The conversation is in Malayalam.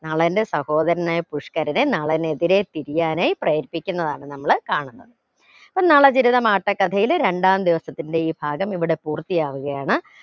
നളന്റെ സഹോദരനായ പുഷ്ക്കരനെ നളനെതിരെ തിരിയാനായി പ്രേരിപ്പിക്കുന്നതാണ് നമ്മൾ കാണുന്നത് അപ്പോ നളചരിതം ആട്ടക്കഥയിലെ രണ്ടാം ദിവസത്തിന്റെ ഈ ഭാഗം ഇവിടെ പൂർത്തിയാവുകയാണ്